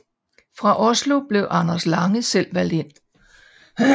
Fra Oslo blev Anders Lange selv valgt ind